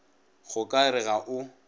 go ka re ga o